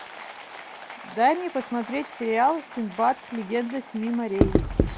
дай мне посмотреть сериал синдбад легенда семи морей